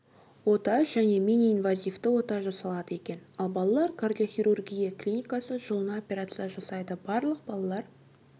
ота және миниинвазивті ота жасалады екен ал балалар кардиохирургия клиникасы жылына операция жасайды барлық балалар